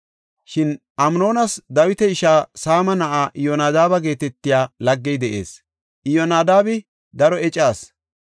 Shin Amnoonas Dawita ishaa Saama na7aa Iyonadaaba geetetiya laggey de7ees; Iyyonadaabi daro eca asi.